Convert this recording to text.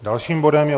Dalším bodem je